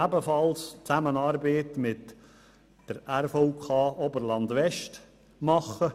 Ebenfalls arbeiten wir mit der Regionalen Verkehrskonferenz (RVK) Oberland-West zusammen.